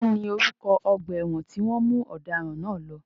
Kí ni orúkọ ọgbà ẹ̀wọ̀n tí wọ́n mú ọ̀daràn náà lọ?